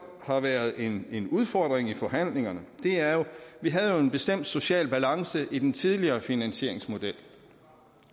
har været en udfordring i forhandlingerne er jo at vi havde en bestemt social balance i den tidligere finansieringsmodel